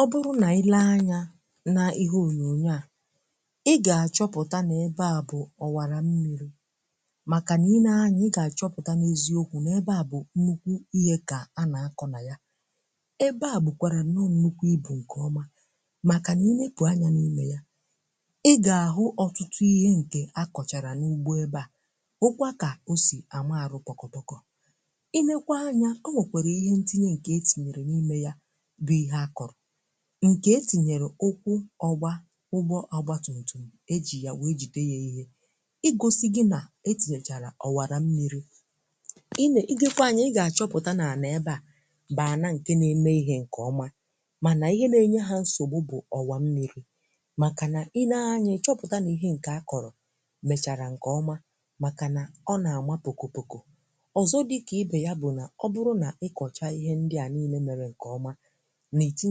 Ọ bụrụ na ị leba anya nke ọma n’ọrụ owuwu a, ị ga-achọpụta na ebe a bụ ọwara mmiri. Ọ bụrụ na ị leba anya nke ọma, ị ga-achọpụta, um n’eziokwu, na ihe a dị ezigbo mkpa. Ndị mmadụ na-ekwu ọtụtụ ihe banyere ya, ma n’eziokwu ọ bụ nnukwu ihe. Ọ bụrụ na ị leba anya n’ime ya, ị ga-ahụ ọtụtụ ihe jikọrọ na ọrụ ugbo. Nke a bụ ya mere e ji mara ya nke ọma. E wuru ọrụ nkume a siri ike, ma ọ na-enyere aka iduzi mmiri nke ọma. Ọ na-egosi gị na ozugbo etinyere ọwara mmiri, ị ga-amalite ịhụ uru ya. Ebumnuche bụ ime ka a chịkwaa mmiri nke ọma, ka ọ ghara ibute nsogbu. N’enweghị ọwara dị otu a, mmiri ga-agbasa n’ebe niile, um na-asa ihe ma bibie ala ugbo. Site n’iwuli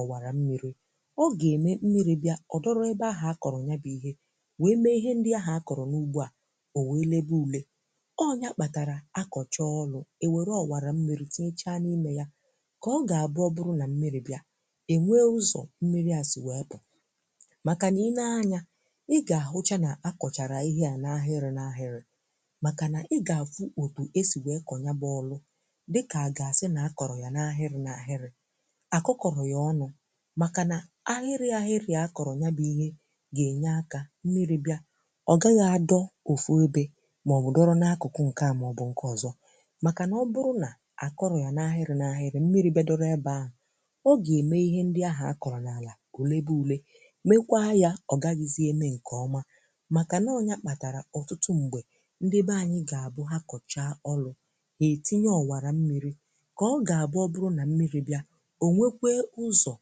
ọwara ahụ, a na-enye mmiri ụzọ doro anya. N’ụzọ dị otu a, mgbe mmiri bịara, ọ gaghị akwụsị na otu ebe, kama ọ ga-asọba nke ọma. Ọ bụrụ na etinyebeghị ya n’ụzọ dị otu a, mmiri ga-agbasa, bibie ala, na ọrụ ugbo agaghị aga nke ọma. Nke a bụ ya mere ndị mmadụ anyị ji na-emesi ike mkpa ọwara mmiri. Ọ na-enye mmiri ụzọ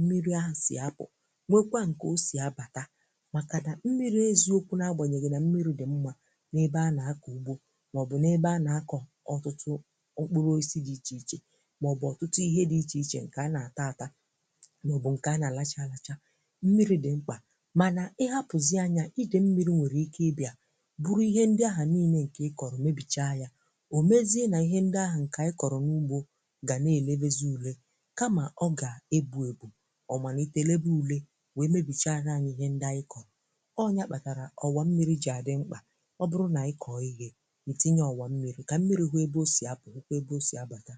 pụta na ụzọ bịa. N’eziokwu, ọbụna ma mmiri dị mma, bara uru n’ọrụ ugbo na n’ịkụ ọtụtụ ihe, n’enweghị ọwara, mmiri karịrị akarị nwere ike ibibi ihe niile. Ya mere, ọwara mmiri dị ezigbo mkpa. Ọ na-echebe ala ugbo, na-achịkwa ije mmiri, um ma na-eme ka ihe a kụrụ ghara ida. Ị tinyere ọwara mmiri pụtara na mmiri nwere ụzọ doro anya isi bịa ma pụta, nke dị mkpa maka ịga nke ọma n’ọrụ ugbo.